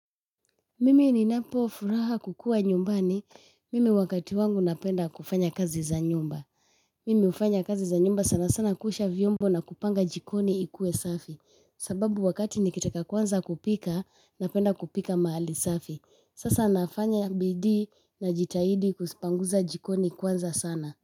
Mimi ninapofuraha kukua nyumbani. Mimi wakati wangu napenda kufanya kazi za nyumba. Mimi hufanya kazi za nyumba sana sana kuosha vyombo na kupanga jikoni ikuwe safi. Sababu wakati nikitaka kuanza kupika napenda kupika mahali safi. Sasa nafanya bidii najitahidi kupanguza jikoni kwanza sana.